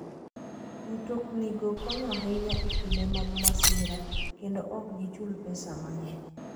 Mtoknigo konyo ahinya e kinde mag masira, kendo ok gichul pesa mang'eny.